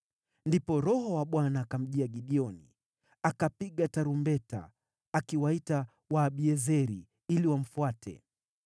Ndipo Roho wa Bwana akamjia Gideoni, akapiga tarumbeta, akiwaita Waabiezeri ili wamfuate.